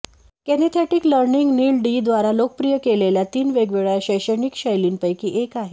kinaesthetic learning Neil D द्वारा लोकप्रिय केलेल्या तीन वेगवेगळ्या शैक्षणिक शैलींपैकी एक आहे